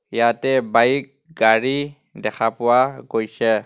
ইয়াতে বাইক গাড়ী দেখা পোৱা গৈছে.